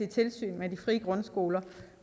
tilsyn med de frie grundskoler